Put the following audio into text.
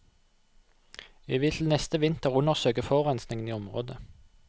Vi vil til neste vinter undersøke forurensingen i området.